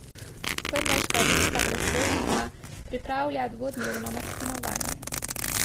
Prleška vinska prestolnica pripravlja dvodnevno martinovanje.